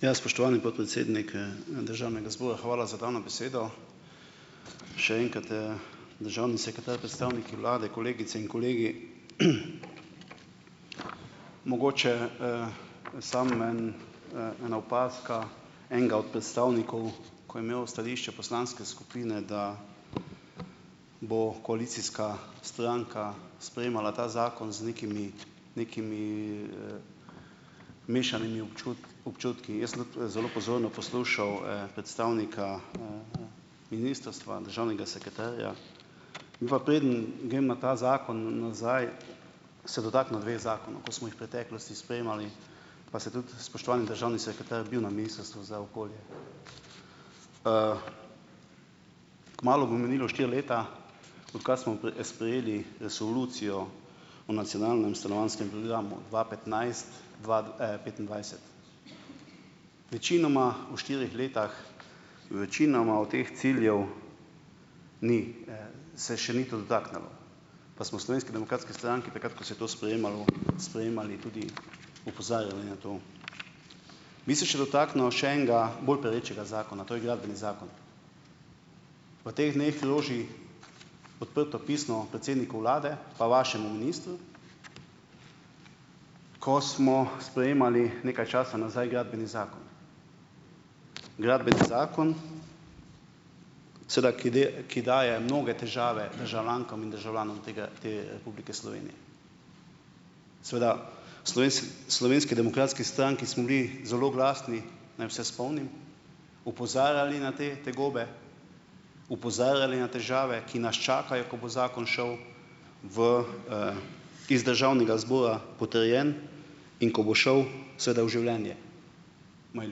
Ja, spoštovani podpredsednik, državnega zbora, hvala za dano besedo. Še enkrat, ... Državni sekretar, predstavniki vlade, kolegice in kolegi! Mogoče samo en, ena opazka enega od predstavnikov, ko je imel stališče poslanske skupine, da bo koalicijska stranka sprejemala ta zakon z nekimi nekimi mešanimi občutki, jaz sem tudi, zelo pozorno poslušal, predstavnika ministrstva, državnega sekretarja. Preden grem na ta zakon nazaj, se dotaknil dveh zakonov, ko smo jih preteklosti sprejemali, pa se tudi spoštovani državni sekretar bil na Ministrstvu za okolje. Kmalu bo minilo štiri leta, odkar smo sprejeli resolucijo o nacionalnem stanovanjskem programu, dva petnajst- dva, petindvajset. Večinoma v štirih letih, večinoma o teh ciljev se še ni to dotaknilo, pa smo v Slovenski demokratski stranki takrat, ko se je to sprejemalo, sprejemali, tudi opozarjali na to. Bi se še dotaknil še enega bolj perečega zakona, to je gradbeni zakon. V teh dneh loži odprto pismo predsedniku vlade pa vašemu ministru, ko smo sprejemali nekaj časa nazaj gradbeni zakon, gradbeni zakon sedaj, ki ki daje mnoge težave državljankam in državljanom tega, te Republike Slovenije. Seveda Slovenski demokratski stranki smo bili zelo glasni, naj vse spomnim, opozarjali na te tegobe, opozarjali na težave, ki nas čakajo, ko bo zakon šel v, iz državnega zbora potrjen, in ko bo šel, sedaj, v življenje, imajo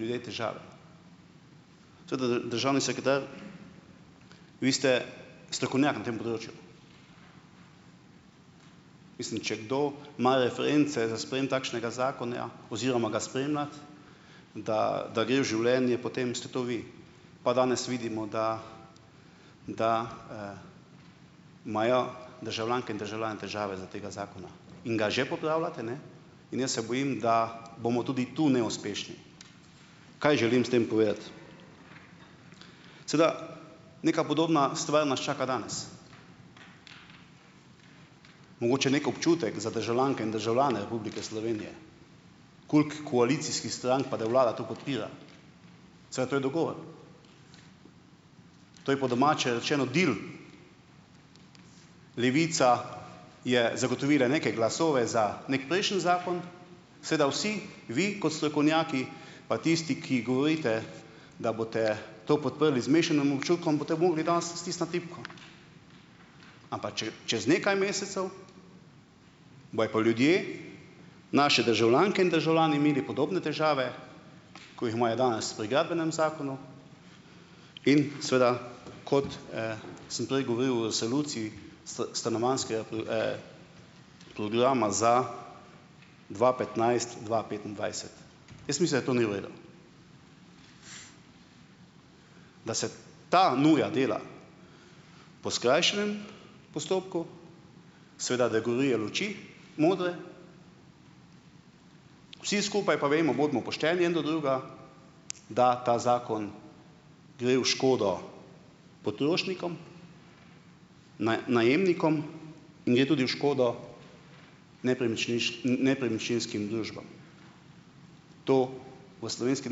ljudje težave. Državni sekretar, vi ste strokovnjak na tem področju. Mislim, če kdo ima reference za sprejem takšnega zakona oziroma ga spremljati, da da gre v življenje, potem ste to vi, pa danes vidimo, da da imajo državljanke in državljani težave za tega zakona in ga že popravljate, ne. In jaz se bojim, da bomo tudi tu neuspešni. Kaj želim s tem povedati? Sedaj. Neka podobna stvar nas čaka danes. Mogoče neki občutek za državljanke in državljane Republike Slovenije, koliko koalicijskih strank, pa da vlada to podpira. Sedaj to je dogovor. To je po domače rečeno deal, Levica je zagotovila neke glasove za neki prejšnji zakon, sedaj vsi vi, kot strokovnjaki, pa tisti, ki govorite, da boste to podprli z mešanim občutkom, boste mogli danes stisniti tipko. Ampak čez nekaj mesecev bojo pa ljudje, naše državljanke in državljani imeli podobne težave, ko jih imajo danes pri gradbenem zakonu in seveda, kot sem prej govoril o resoluciji stanovanjskega programa za dva petnajst-dva petindvajset. Jaz mislim, da to ni v redu. Da se ta nuja dela po skrajšanem postopku, seveda, da gorijo luči modre, vsi skupaj pa vemo, bodimo pošteni en do drugega, da ta zakon gre v škodo potrošnikom, najemnikom in gre tudi v škodo nepremičninskim družbam. To v Slovenski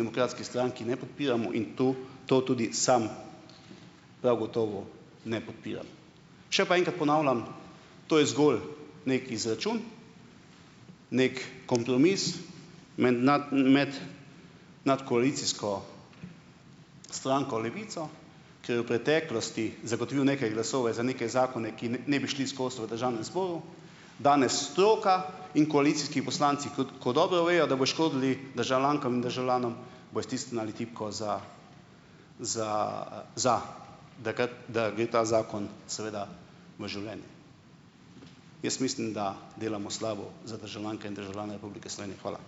demokratski stranki ne podpiramo in to to tudi sam prav gotovo ne podpiram. Še pa enkrat ponavljam, to je zgolj neki izračun, neki kompromis med nad, med nadkoalicijsko stranko Levico, ker v preteklosti zagotovil neke glasove za neke zakone, ki ne bi šli skozi v državnem zboru, danes stroka in koalicijski poslanci, kako ko dobro vejo, da bo škodil državljankam in državljanom, bojo stisnili tipko za, za, za, da gre ta zakon seveda v življenje. Jaz mislim, da delamo slabo za državljanke in državljane Republike Slovenije. Hvala.